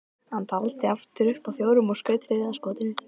Hann taldi aftur upp að fjórum og skaut þriðja skotinu.